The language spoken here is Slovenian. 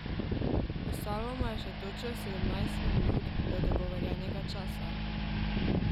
Ostalo mu je še točno sedemnajst minut do dogovorjenega časa.